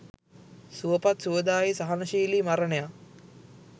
සුවපත්, සුවදායි, සහනශීලි මරණයක්